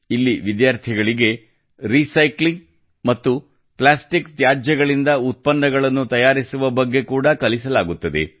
ಇಲ್ಲಿ ವಿದ್ಯಾರ್ಥಿಗಳಿಗೆ ರೀಸೈಕ್ಲಿಂಗ್ ಮತ್ತು ಪ್ಲಾಸ್ಟಿಕ್ ತ್ಯಾಜ್ಯದಿಂದ ಉತ್ಪನ್ನಗಳನ್ನು ತಯಾರಿಸುವ ಬಗ್ಗೆ ಕೂಡಾ ಕಲಿಸಲಾಗುತ್ತದೆ